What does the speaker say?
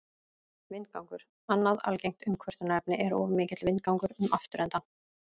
Vindgangur Annað algengt umkvörtunarefni er of mikill vindgangur um afturendann.